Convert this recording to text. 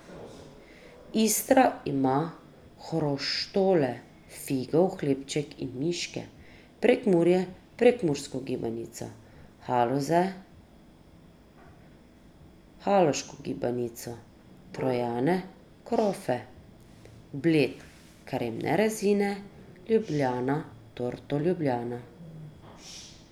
Istra ima hroštole, figov hlebček in miške, Prekmurje prekmursko gibanico, Haloze haloško gibanico, Trojane krofe, Bled kremne rezine, Ljubljana torto ljubljana...